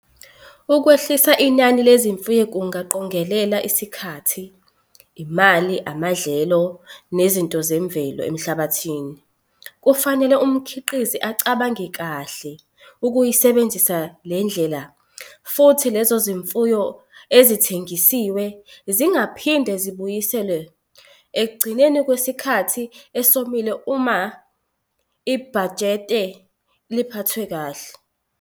Ukwehlisa inani lezimfuyo kungaqongelela isikhathi, imali, amadlelo nezinto zemvelo emhlabathini, kufanele umkhiqizi acabange kahle ukuyisebenzisa le ndlela, futhi lezo zimfuyo ezithengisiwe zingaphinda zibuyiselwe ekugcineni kwesikhathi esomile uma ibhajete liphathwa kahle.